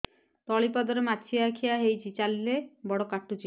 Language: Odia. ତଳିପାଦରେ ମାଛିଆ ଖିଆ ହେଇଚି ଚାଲିଲେ ବଡ଼ କାଟୁଚି